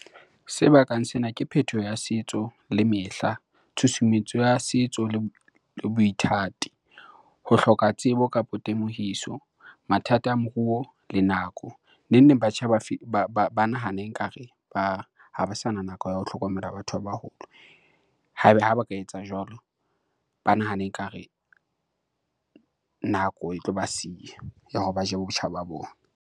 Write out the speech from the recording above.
Se bakang sena ke phethoho ya setso le mehla, tshusumetso ya setso le boithati, ho hloka tsebo kapo temohiso, mathata a moruo le nako. Neng neng, batjha ba nahana ekare ba, ha ba sana nako ya ho hlokomela batho ba baholo ha ba ka etsa jwalo. Ba nahana ekare nako e tlo ba siya ya hore ba je botjha ba ba bona.